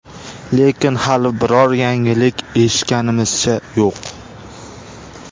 Lekin hali biror yangilik eshitganimizcha yo‘q.